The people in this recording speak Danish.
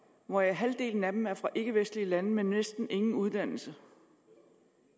hvor halvdelen af dem er fra ikkevestlige lande og med næsten ingen uddannelse